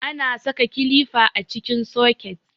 Ana saka kilifa a cikin soket.